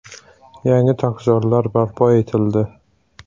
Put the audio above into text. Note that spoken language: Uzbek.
Yangi tokzorlar barpo etildi.